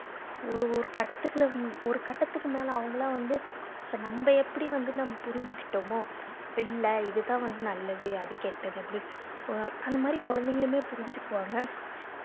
ஒரு ஒரு கட்டத்துக்குள்ள ஒரு கட்டத்துக்கு மேல அவங்கலாம் வந்து இப்ப நம்ம எப்படி வந்து நம்ம புரிஞ்சுக்கிட்டோமோ பிள்ளை இதுதான் வந்து நல்லது அது கெட்டது அப்படினு அஹ் அந்த மாதிரி குழந்தைங்களுமே புரிஞ்சுக்குவாங்க